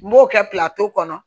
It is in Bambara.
N b'o kɛ kɔnɔ